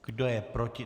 Kdo je proti?